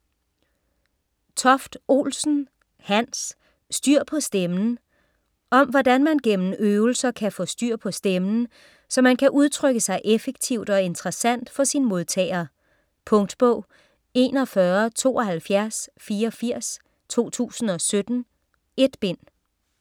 Toft-Olsen, Hans: Styr på stemmen Om hvordan man gennem øvelser kan man få styr på stemmen så man kan udtrykke sig effektivt og interessant for sin modtager. Punktbog 417284 2017. 1 bind.